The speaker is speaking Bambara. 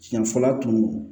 Siɲɛ fɔlɔ tun don